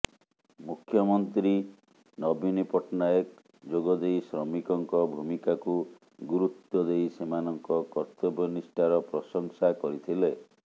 ମୁଖ୍ୟମନ୍ତ୍ରୀ ନବୀନ ପଟ୍ଟନାୟକ ଯୋଗ ଦେଇ ଶ୍ରମିକଙ୍କ ଭୂମିକାକୁ ଗୁରୁତ୍ବ ଦେଇ ସେମାନଙ୍କ କର୍ତବ୍ୟନିଷ୍ଠାର ପ୍ରଶଂସା କରିଥିଲେ